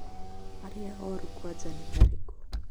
aria orũ kwanja nĩ arĩku?